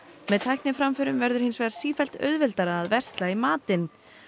með tækniframförum verður hins vegar sífellt auðveldara að versla í matinn